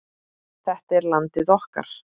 Þetta er landið okkar.